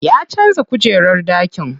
Ya canza kujerar ɗakin.